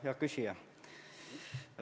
Hea küsija!